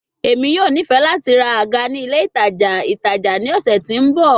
Emi yoo nifẹ lati ra aga ni ile itaja itaja ni ọsẹ ti n bọ